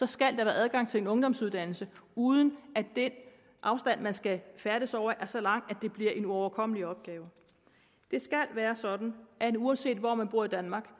skal der være adgang til en ungdomsuddannelse uden at den afstand man skal færdes over er så lang at det bliver en uoverkommelig opgave det skal være sådan at uanset hvor man bor i danmark